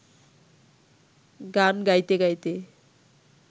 গান গাইতে গাইতে